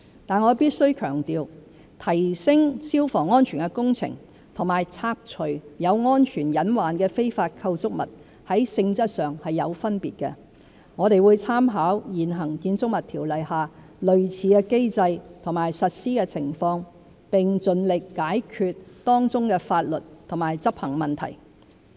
但我必須強調，提升消防安全的工程和拆除有安全隱患的非法構築物在性質上有分別，我們會參考現行《建築物條例》下類似的機制和實施情況，並盡力解決當中的法律和執行問題。